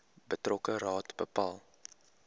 betrokke raad bepaal